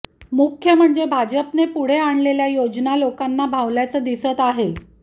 मुख्य म्हणजे भाजपने पुढे आणलेल्या योजना लोकांना भावल्याचं दिसत आहे